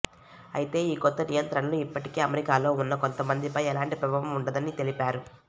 అయితే ఈ కొత్త నియంత్రణలు ఇప్పటికే అమెరికాలో ఉన్న కొంతమందిపై ఎలాంటి ప్రభావం ఉండదు అని తెలిపారు